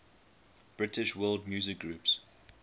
british world music groups